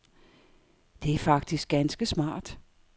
Det er faktisk ganske smart.